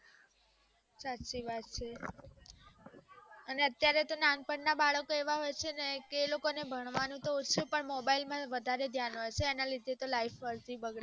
સાચી વાત છે અને અત્યારે નાનપણ ના બાળક એવા હોઈ છેને કે એ લોકો ને ભણવું તો સુ mobile માં વધુ ધ્યાન હોઈ છે એના લીધે life બગડે